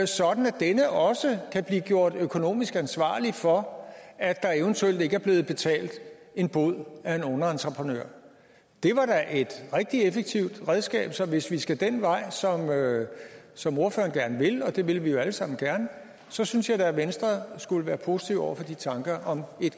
sådan at denne også kan blive gjort økonomisk ansvarlig for at der eventuelt ikke er blevet betalt en bod af en underentreprenør det var da et rigtig effektivt redskab så hvis vi skal den vej som ordføreren gerne vil og det vil vi jo alle sammen gerne så synes jeg da at venstre skulle være positive over for de tanker om